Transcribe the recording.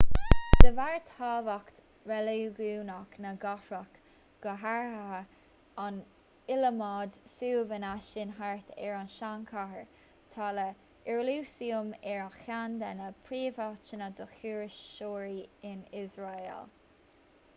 de bharr thábhacht reiligiúnach na gcathrach go háirithe an iliomad suíomhanna sin thart ar an tsean-chathair tá iarúsailéim ar cheann de na príomháiteanna do thurasóirí in iosrael